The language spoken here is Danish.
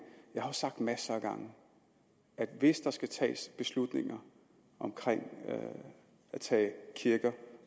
jeg har sagt masser af gange at hvis der skal tages beslutninger om at tage kirker